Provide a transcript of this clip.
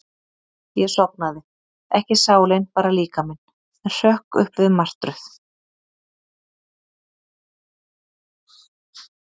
Ég sofnaði, ekki sálin, bara líkaminn, en hrökk upp við martröð.